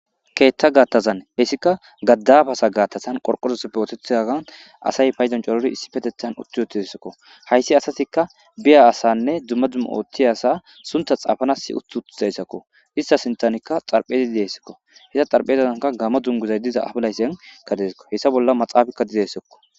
keetta gaattazan hessika gaddabasa gaattazan qorqorusppootethzagan asay payzoncorori issi patethan utti yootissakko hayssi asatikka biya asanne dumma dumma ooththi asa sunta xaafanas utt utizayssakko issa sintanikka xarphezii dessakko hessa xarphezazanka gama dunguzay diza abilaysenkka deskko hessa bolla maxaafakka didessekko